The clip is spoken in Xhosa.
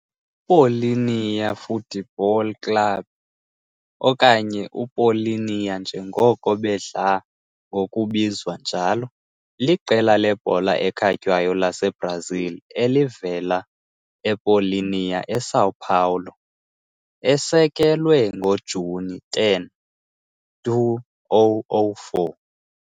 UPaulínia Futebol Clube, okanye uPaulínia njengoko bedla ngokubizwa njalo, liqela lebhola ekhatywayo laseBrazil elivela ePaulínia eSão Paulo, esekelwe ngoJuni 10, 2004.